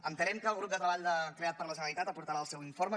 entenem que el grup de treball creat per la generalitat aportarà el seu informe